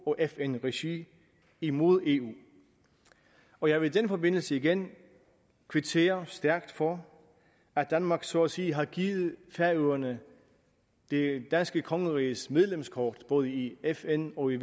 og fn regi imod eu og jeg vil i den forbindelse igen kvittere stærkt for at danmark så at sige har givet færøerne det danske kongeriges medlemskort både i fn og i